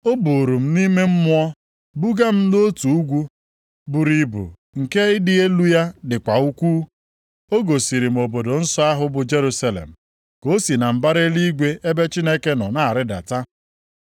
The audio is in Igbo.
O buuru m nʼime Mmụọ buga m nʼotu ugwu buru ibu nke ịdị elu ya dịkwa ukwuu. O gosiri m obodo nsọ ahụ bụ Jerusalem ka o si na mbara eluigwe ebe Chineke nọ na-arịdata.